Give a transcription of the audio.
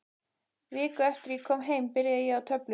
Viku eftir að ég kom heim byrjaði ég á töflum.